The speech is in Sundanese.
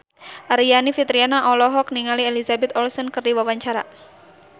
Aryani Fitriana olohok ningali Elizabeth Olsen keur diwawancara